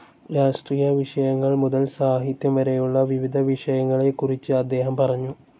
രാഷ്ട്രീയ വിഷയങ്ങൾ മുതൽ സാഹിത്യം വരെയുള്ള വിവിധ വിഷയങ്ങളെക്കുറിച്ച് അദ്ദേഹം പറഞ്ഞു.